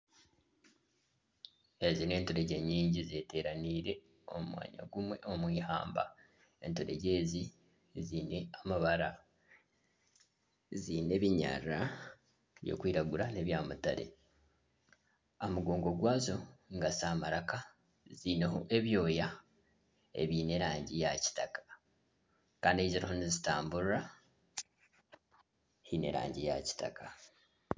Ezi nenturegye nyingi zeteraniire omu mwanya gumwe omwihamba enturegye ezi ziine amabara ,ziine ebinyarara, ebirikwiragura nana ebya mutare, aha mugongo gwazo ningashi aha maraka haineho ebyooya ebyerangi ya kitaka kandi ahu ziriho nizitamburira haine erangi ya kitaka.